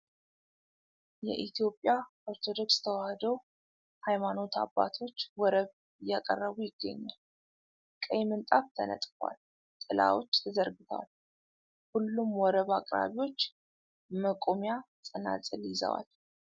የኢትዮጵያ ኦርቶዶክስ ተዋሕዶ ሃይማኖት አባቶች ወረብ እያቀረቡ ይገኛል ። ቀይ ምንጣፍ ተነጥፏል ። ጥላዎች ተዘርግተዋል ። ሁሉም ወረብ አቅራቢዎች መቋሚያ ፣ ጸናጽል ይዘዋል ።